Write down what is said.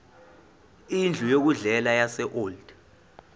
indlu yokudlela yaseold